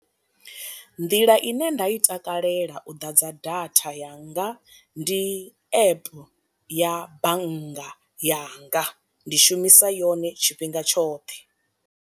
Nḓila ine nda i takalela u ḓadza datha yanga ndi app ya bannga yanga, ndi shumisa yone tshifhinga tshoṱhe.